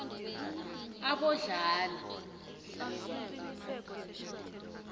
abodladla